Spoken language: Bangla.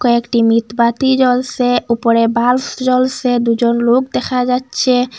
একটি মিতবাতি জ্বলসে উপরে ভাল্পস জ্বলসে দুজন লোক দেখা যাচ্চে।